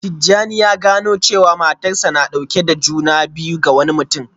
Tijjani ya gano jiya cewa matarsa ​​na dauke da juna biyu ga wani mutum